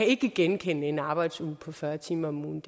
ikke genkende en arbejdsuge på fyrre timer om ugen